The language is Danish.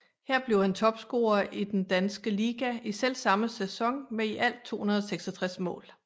Her blev han topscorer i den danske liga i selvsamme sæson med i alt 266 mål